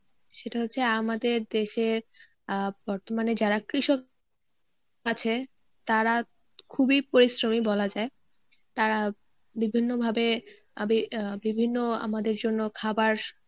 সেটা হচ্ছে আমাদের দেশের আহ বর্তমানে যারা কৃষক আছে তারা খুবই পরিশ্রমী বলা যায় তারা বিভিন্ন ভাবে আভি আহ বিভিন্ন আমাদের জন্য খাবার